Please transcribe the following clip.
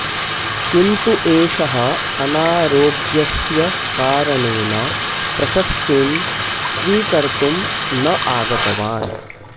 किन्तु एषः अनारोग्यस्य कारणेन प्रशस्तिं स्वीकर्तुं न आगतवान्